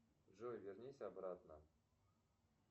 джой вернись обратно